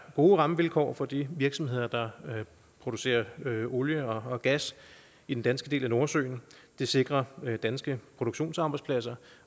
gode rammevilkår for de virksomheder der producerer olie og gas i den danske del af nordsøen det sikrer danske produktionsarbejdspladser